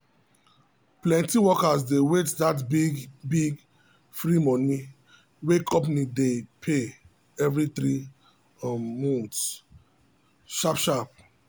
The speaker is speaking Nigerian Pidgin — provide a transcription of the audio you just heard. plenty workers dey wait that big big free money wey company dey pay every three um months um sharp sharp.